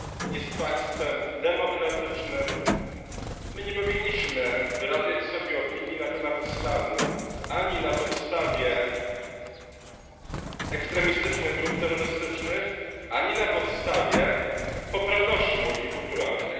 Jest państwem demokratycznym. My nie powinniśmy wyrabiać sobie opinii na temat islamu ani na podstawie ekstremistycznych grup terrorystycznych, ani na podstawie poprawności multikulturalnej.